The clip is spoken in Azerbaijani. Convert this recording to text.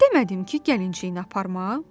Demədim ki, gəlinciyini aparma?